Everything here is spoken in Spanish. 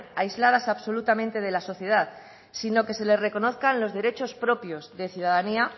aisladas absolutamente de la sociedad sino que se les reconozcan los derechos propios de ciudadanía